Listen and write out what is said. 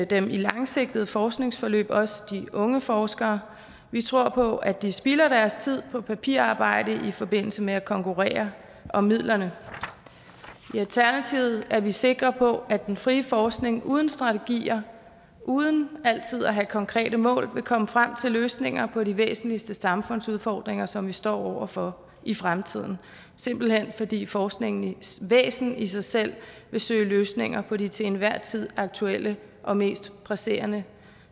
dem i langsigtede forskningsforløb også de unge forskere vi tror på at de spilder deres tid på papirarbejde i forbindelse med at konkurrere om midlerne i alternativet er vi sikre på at den frie forskning uden strategier uden altid at have konkrete mål vil komme frem til løsninger på de væsentligste samfundsudfordringer som vi står over for i fremtiden simpelt hen fordi forskningens væsen i sig selv vil søge løsninger på de til enhver tid aktuelle og mest presserende